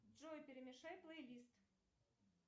джой перемешай плейлист